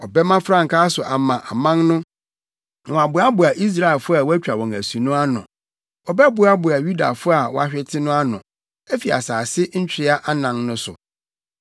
Ɔbɛma frankaa so ama aman no na wɔaboaboa Israelfo a wɔatwa wɔn asu no ano; Ɔbɛboaboa Yudafo a wɔahwete no ano afi asase ntwea anan no so.